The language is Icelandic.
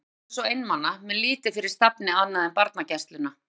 Ég var eirðarlaus og einmana með lítið fyrir stafni annað en barnagæsluna.